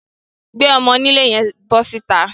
Gbé ọmọ-onílé yẹn bọ́ síta